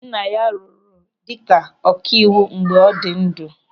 Nna ya rụrụ ọrụ dịka ọkaiwu mgbe ọ dị ndụ.